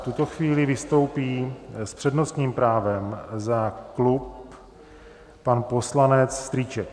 V tuto chvíli vystoupí s přednostním právem za klub pan poslanec Strýček.